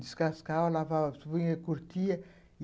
Descascava, lavava, se punha, curtia.